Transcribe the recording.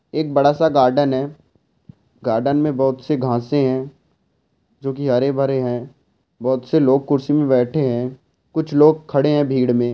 एक बड़ा सा गार्डन है गार्डन में बहुत सी घासें है जो के हरे भरे है बहुत से लोग कुर्सी में बैठे है कुछ लोग खड़े हे भीड़ में--